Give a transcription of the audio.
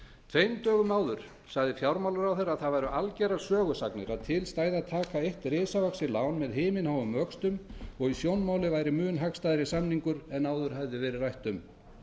tveim dögum áður sagði fjármálaráðherra að það væru algerar sögusagnir að til stæði að taka eitt risavaxið lán með himinháum vöxtum og að í sjónmáli væri mun hagstæðari samningur en áður hefði verið rætt um